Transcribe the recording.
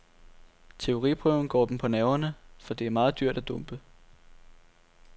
Teoriprøven går dem på nerverne, for det er meget dyrt at dumpe.